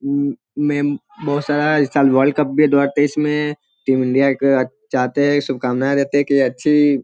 अम मैं बहुत सारा इस साल वर्ल्ड कप भी है दो हजार तेईस में टीम इंडिया चाहते हैं शुभकामना देते हैं की अच्छी --